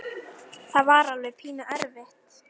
Það var alveg pínu erfitt.